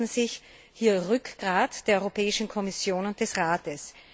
Sie erwarten sich hier Rückgrat der Europäischen Kommission und des Rates.